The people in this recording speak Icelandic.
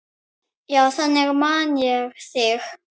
Já, þannig man ég þig.